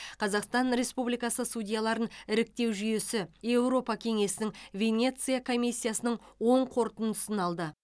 қазақстан республикасы судьяларын іріктеу жүйесі еуропа кеңесінің венеция комиссиясының оң қорытындысын алды